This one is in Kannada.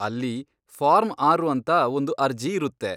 ಅಲ್ಲಿ ಫಾರ್ಮ್ ಆರು ಅಂತ ಒಂದು ಅರ್ಜಿ ಇರುತ್ತೆ.